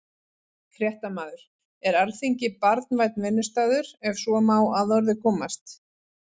Fréttamaður: Er Alþingi barnvænn vinnustaður, ef svo má að orði komast?